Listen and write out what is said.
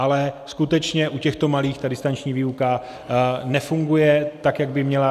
Ale skutečně u těchto malých ta distanční výuka nefunguje tak, jak by měla.